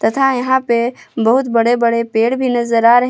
तथा यहां पे बहोत बड़े बड़े पेड़ भी नजर आ रहे--